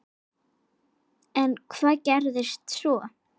En hvað gerðist svo?